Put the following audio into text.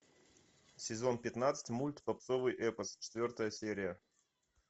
сезон пятнадцать мульт попсовый эпос четвертая серия